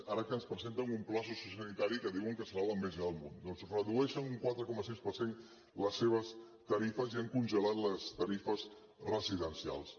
ara que ens presenten un pla sociosanitari que diuen que serà l’enveja del món doncs redueixen un quatre coma sis per cent les seves tarifes i han congelat les tarifes residencials